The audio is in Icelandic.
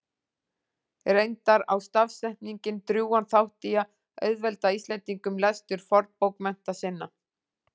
Reyndar á stafsetning drjúgan þátt í að auðvelda Íslendingum lestur fornbókmennta sinna.